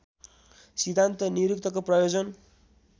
सिद्धान्त निरुक्तको प्रयोजन